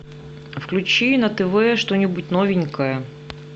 включи на тв что нибудь новенькое